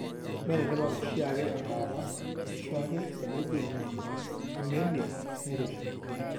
Mee enetipat oshiake embaata ashuake tenejing' anemia nairoshi.